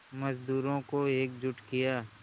मज़दूरों को एकजुट किया